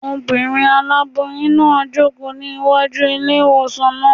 Obìnrin aláboyún náà ń jòkó ní wájú ilé-ìwòsàn náà